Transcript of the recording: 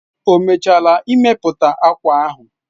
O mechaala imepụta akwa ahụ